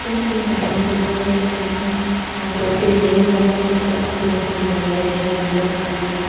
pink-pink lining बनी हुई है इस माट में और सर्किल रिंगस बने हुए हैं कलरफुल जैसे कि ये रेड है ऐलो है ब्लू है इन्‍होंने --